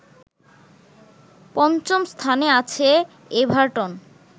পঞ্চম স্থানে আছে এভারটন